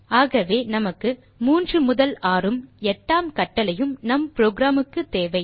ஆகவே நமக்கு மூன்று முதல் ஆறும் எட்டாம் கட்டளையும் நம் புரோகிராம் க்கு தேவை